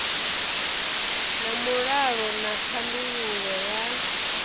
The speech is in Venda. na mulalo na thandululo ya